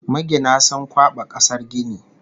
Magina sun kwaɓa kasar gini